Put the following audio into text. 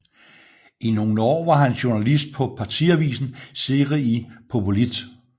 I nogle år var han journalist på partiavisen Zëri i Popullit